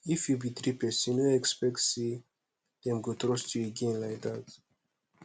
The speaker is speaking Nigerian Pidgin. if you betray person no expect say dem go trust you again like that